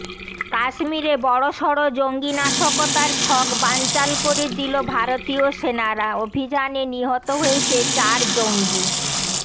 কাশ্মীরে বড়সড় জঙ্গি নাশকতার ছক বানাচাল করে দিল ভারতীয় সেনারা অভিযানে নিহত হয়েছে চার জঙ্গি